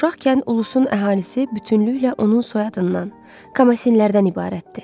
Uşaqkən ulusun əhalisi bütünlüklə onun soyadından Kamasinlərdən ibarətdir.